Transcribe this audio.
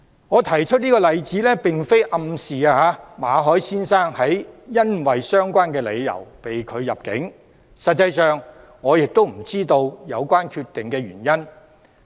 我提出這個例子並非暗示馬凱先生是因為相關理由被拒入境，實際上我不知道有關原因。